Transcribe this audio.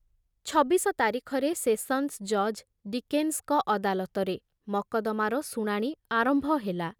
ଛବିଶ ତାରିଖରେ ସେସନ୍ସ ଜଜ ଡିକେନ୍ସଙ୍କ ଅଦାଲତରେ ମକଦ୍ଦମାର ଶୁଣାଣି ଆରମ୍ଭ ହେଲା।